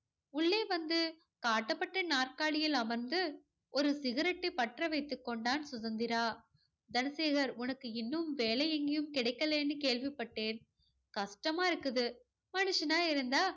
உள்ளே வந்து காட்டப்பட்ட நாற்காலியில் அமர்ந்து ஒரு சிகரெட்டை பற்ற வைத்துக் கொண்டான் சுதந்திரா. தனசேகர் உனக்கு இன்னும் வேலை எங்கேயும் கிடைக்கலைன்னு கேள்விப்பட்டேன் கஷ்டமா இருக்குது. மனுஷனா இருந்தா